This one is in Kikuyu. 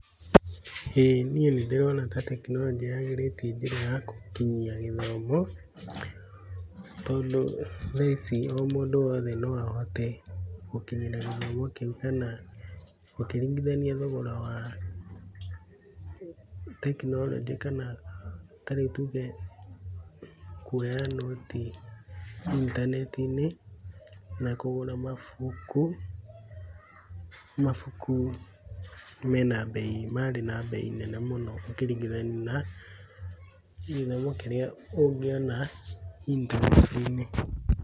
Ĩĩ niĩ nĩndĩrona ta tekinoronjĩ yagĩrĩtie njĩra ya gũkinyia gĩthomo, tondũ thaa ici o mũndũ wothe no ahote gũkinyĩra gĩthomo kĩu kana ũkĩringithania thogora wa tekinoronjĩ kana ta rĩu tuge kuoya nũti intaneti-inĩ, na kũgũra mabuku, mabuku me na bei marĩ na bei nene mũno ũkĩringithania na gĩthomo kĩrĩa ũngĩona intaneti-inĩ.